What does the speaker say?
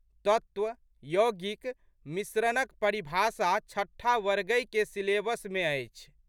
तत्व, यौगिक, मिश्रणक परिभाषा छठा वर्गहिके सिलेबसमे अछि।